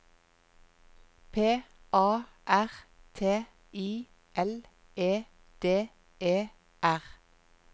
P A R T I L E D E R